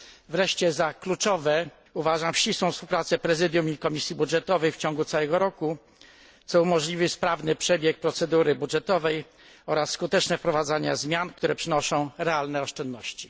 Wreszcie za kluczową uważam ścisłą współpracę Prezydium i Komisji Budżetowej w ciągu całego roku, co umożliwi sprawny przebieg procedury budżetowej oraz skuteczne wprowadzanie zmian, które przynoszą realne oszczędności.